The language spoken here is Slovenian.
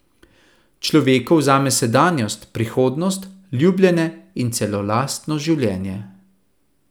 Človeku vzame sedanjost, prihodnost, ljubljene in celo lastno življenje.